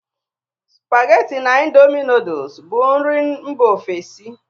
Supageti na indomi nudul bụ nri Mba ofesi